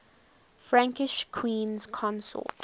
frankish queens consort